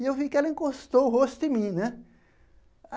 E eu vi que ela encostou o rosto em mim né.